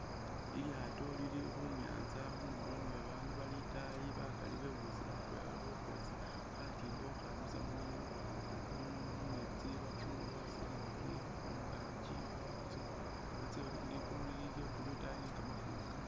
Lilyaato lili khunyanza khundulo ni babaandu bali itaayi bakali bebusile atwela bali khukhwesa khatimba khukhamisa mu mumeetsi bafunekho silingi khungaki khwatso batse ligulu lili lya blue itaayi ni kamafumbi kama